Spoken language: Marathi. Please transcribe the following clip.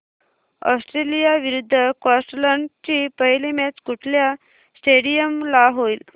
ऑस्ट्रेलिया विरुद्ध स्कॉटलंड ची पहिली मॅच कुठल्या स्टेडीयम ला होईल